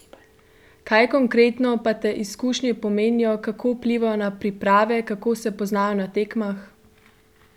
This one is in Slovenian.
Kaj konkretno pa te izkušnje pomenijo, kako vplivajo na priprave, kako se poznajo na tekmah?